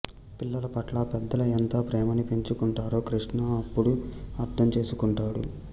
పిల్లల పట్ల పెద్దలు ఎంత ప్రేమని పెంచుకొంటారో కృష్ణ అప్పుడు అర్థం చేసుకుంటాడు